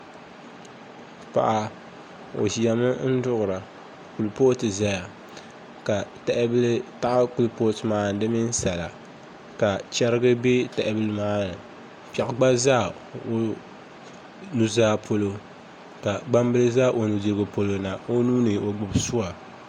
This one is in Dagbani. Paɣa o ʒimi n duɣura kuripooti ʒɛya ka tahabili taɣa kuripooti maa ni di mini sala ka chɛrigi bɛ tahabili maa ni piɛɣu gba ʒɛ o nuzaa polo ka gbambili ʒɛ o nudirigu polo na o nuuni o gbubi suwa